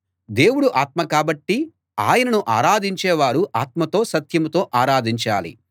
దేవుడు ఆత్మ కాబట్టి ఆయనను ఆరాధించే వారు ఆత్మతో సత్యంతో ఆరాధించాలి